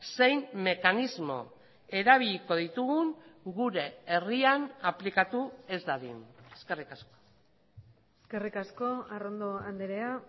zein mekanismo erabiliko ditugun gure herrian aplikatu ez dadin eskerrik asko eskerrik asko arrondo andrea